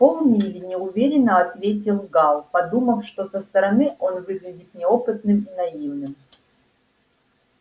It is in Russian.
полмили неуверенно ответил гаал подумав что со стороны он выглядит неопытным и наивным